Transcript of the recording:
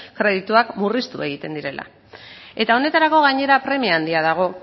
kredituak murriztu egiten direla eta honetarako gainera premia handia dago